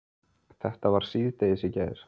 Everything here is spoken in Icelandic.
Þetta var síðdegis í gær.